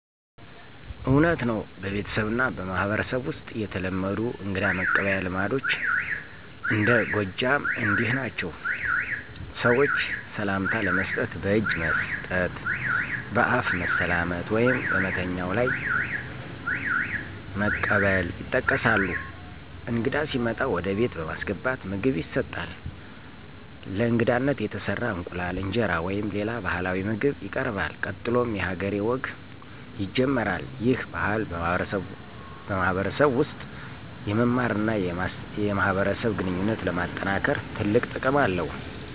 እውነት ነው፤ በቤተሰብና በማህበረሰብ ውስጥ የተለመዱ እንግዳ መቀበያ ልማዶች እንደ ጎጃም እንዲህ ናቸው። ሰዎች ሰላምታ ለመስጠት በእጅ መስጠት፣ በአፍ መሰላመት ወይም በመተኛው ላይ መቀበል ይጠቀሳሉ። እንግዳ ሲመጣ ወደ ቤት በማስገባት ምግብ ይሰጣል፣ በእንግዳነት የተሰራ እንቁላል፣ እንጀራ ወይም ሌላ ባህላዊ ምግብ ይቀርባል። ቀጥሎም የ ሀገሬ ወግ ይጀምራል። ይህ ባህል በማህበረሰብ ውስጥ የመማርና የማኅበረሰብ ግንኙነት ለማጠናከር ትልቅ ጥቅም አለው።